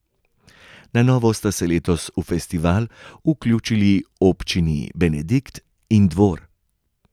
Na novo sta se letos v festival vključili občini Benedikt in Dvor.